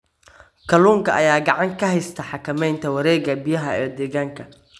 Kalluunka ayaa gacan ka geysta xakameynta wareegga biyaha ee deegaanka.